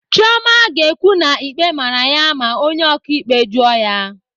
Chioma ga-ekwu na ikpe mara ya ma onye ọkaikpe jụọ ya.